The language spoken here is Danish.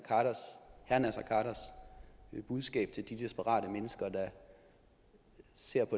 khaders budskab til de desperate mennesker der ser